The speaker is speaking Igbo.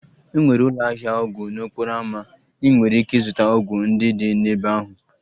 Enwere ụlọ ahịa ọgwụ n'okporo ámá, ị nwere ike ịzụta ọgwụ ndị dị n'ebe ahụ